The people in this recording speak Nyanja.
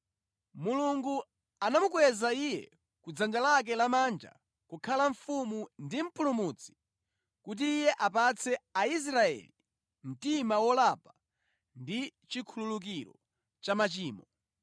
Mulungu anamukweza Iye ku dzanja lake lamanja kukhala Mfumu ndi Mpulumutsi kuti Iye apatse Aisraeli mtima wolapa ndi chikhululukiro cha machimo.